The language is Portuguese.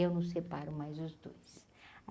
Eu não separo mais os dois.